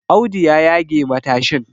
Audu ya yage matashin